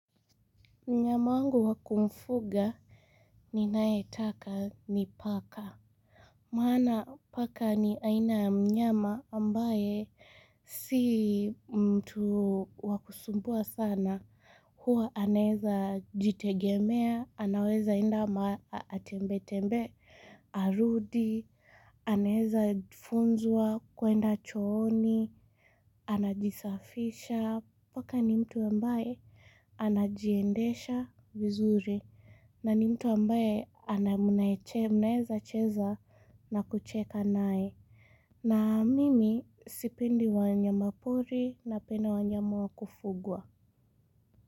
Mnyama wangu wa kumfuga ninayetaka ni paka. Maana paka ni aina ya mnyama ambaye si mtu wa kusumbua sana. Huwa anaeza jitegemea, anaweza enda atembe-tembe, arudi, anaeza funzwa, kwenda chooni, anajisafisha, paka ni mtu ambaye anajiendesha vizuri. Na ni mtu ambaye mnaeza cheza na kucheka naye. Na mimi sipendi wanyama pori napenda wanyama wa kufugwa.